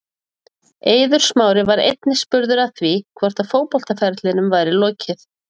Eiður Smári var einnig spurður að því hvort að fótboltaferlinum væri lokið.